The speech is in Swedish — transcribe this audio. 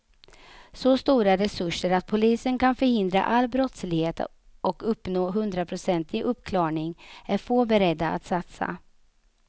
Så stora resurser att polisen kan förhindra all brottslighet och uppnå hundraprocentig uppklarning är få beredda att satsa.